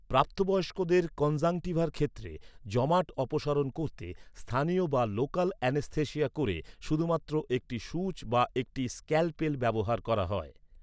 প্রাপ্তবয়স্কদের কনজাংটিভার ক্ষেত্রে জমাট অপসারণ করতে, স্থানীয় বা লোকাল অ্যানেস্থেশিয়া ক’রে শুধুমাত্র একটি সুচ বা একটি স্ক্যালপেল ব্যবহার করা হয়।